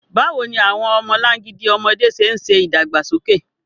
Báwo ni àwọn ọmọlangidi ọmọdé ṣe ń ṣe ìdàgbàsókè?